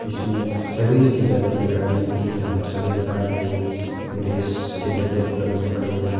इसमें सर्विस कि जाती हैं गाड़ियों कि यहाँ पर सभी प्रकार के ग्रीस के डब्बे उबल्ब्ध पड़े हैं।